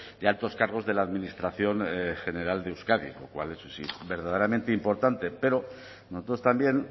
de altos cargos de la administración general de euskadi lo cual eso sí verdaderamente importante pero nosotros también